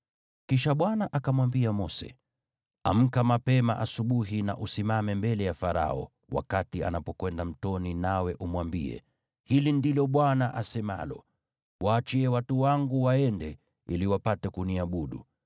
Kisha Bwana akamwambia Mose, “Amka mapema asubuhi na usimame mbele ya Farao wakati anapokwenda mtoni nawe umwambie, ‘Hili ndilo Bwana asemalo: Waachie watu wangu waende, ili wapate kuniabudu.